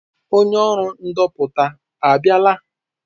Onye ọrụ ndopụta a bịala?